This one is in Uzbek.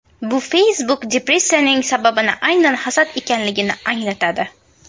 Bu Facebook-depressiyaning sababi aynan hasad ekanligini anglatadi.